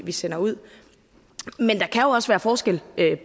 vi sender ud men der kan jo også være forskel